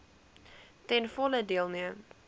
ten volle deelneem